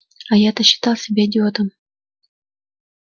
а я-то считал себя идиотом